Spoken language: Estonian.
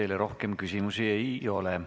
Teile rohkem küsimusi ei ole.